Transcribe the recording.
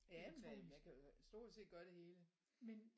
Ja man kan jo stort set gøre det hele